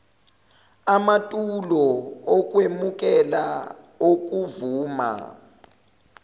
amatulo okwemukela okuvuma